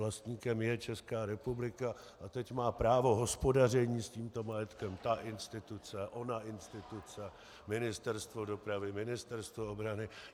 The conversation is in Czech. Vlastníkem je Česká republika a teď má právo hospodaření s tímto majetkem ta instituce, ona instituce, Ministerstvo dopravy, Ministerstvo obrany.